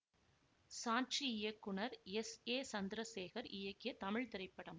சாட்சி இயக்குனர் S A Chandrasekhar இயக்கிய தமிழ் திரைப்படம்